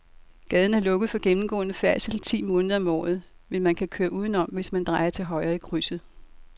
Gaden er lukket for gennemgående færdsel ti måneder om året, men man kan køre udenom, hvis man drejer til højre i krydset.